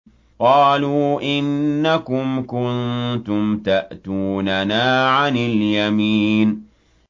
قَالُوا إِنَّكُمْ كُنتُمْ تَأْتُونَنَا عَنِ الْيَمِينِ